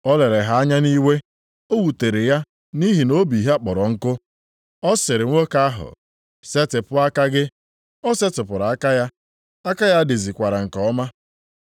O lere ha anya nʼiwe, o wutere ya nʼihi na obi ha kpọrọ nkụ. Ọ sịrị nwoke ahụ, “Setịpụ aka gị.” O setịpụrụ aka ya, aka ya dizikwara nke ọma.